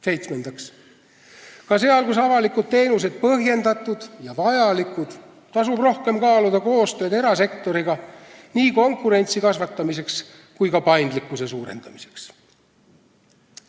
Seitsmendaks, ka seal, kus avalikud teenused on põhjendatud ja vajalikud, tasub rohkem kaaluda koostööd erasektoriga, nii konkurentsi kasvatamiseks kui ka paindlikkuse suurendamiseks.